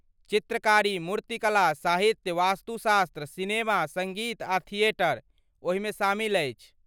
चित्रकारी, मूर्तिकला, साहित्य, वास्तुशास्त्र, सिनेमा, सङ्गीत आ थिएटर ओहिमे शामिल अछि।